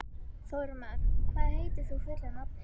Þormar, hvað heitir þú fullu nafni?